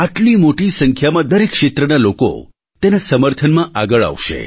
આટલી મોટી સંખ્યામાં દરેક ક્ષેત્રના લોકો તેના સમર્થનમાં આગળ આવશે